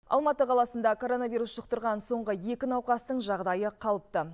алматы қаласында коронавирус жұқтырған соңғы екі науқастың жағдайы қалыпты